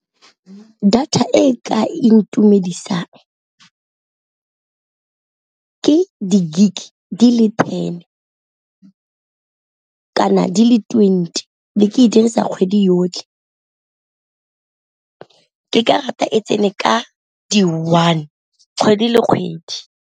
Data e ka intumedisang ke di-gig di le ten kana di le twenty be ke e dirisa kgwedi yotlhe, ke ka rata e tsene ka di one kgwedi le kgwedi.